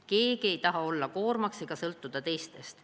Keegi ei taha olla koormaks ega sõltuda teistest.